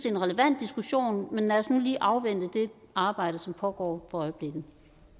en relevant diskussion men lad os nu lige afvente det arbejde som pågår for øjeblikket